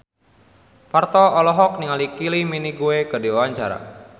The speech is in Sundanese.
Parto olohok ningali Kylie Minogue keur diwawancara